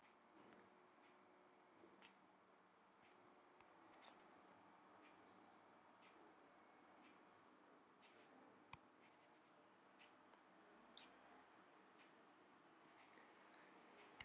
Þau voru níu við borðið, einn hafði forfallast.